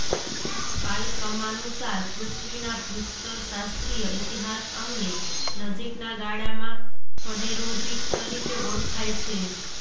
કાલક્રમાનુસાર પૃથ્વીના ભૂસ્તરશાસ્ત્રીય ઇતિહાસ અમને નજીકના ગાળામાં ફનેરોઝીક તરીકે ઓળખાય છે